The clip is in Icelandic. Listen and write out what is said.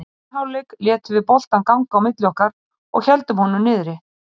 Í seinni hálfleik létum við boltann ganga á milli okkar og héldum honum niðri.